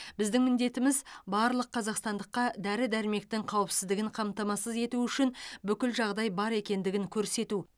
біздің міндетіміз барлық қазақстандыққа дәрі дәрмектің қауіпсіздігін қамтамасыз ету үшін бүкіл жағдай бар екендігін көрсету